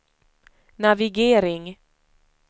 navigering